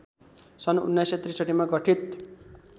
सन् १९६३ मा गठित